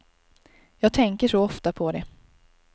Jag tänker så ofta på det.